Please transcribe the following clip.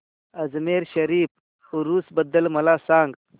अजमेर शरीफ उरूस बद्दल मला सांग